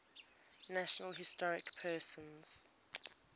national historic persons